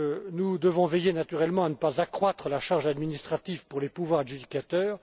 Nous devons veiller naturellement à ne pas accroître la charge administrative pour les pouvoirs adjudicateurs.